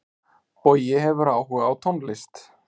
Bogi hefur áhuga á tónlist.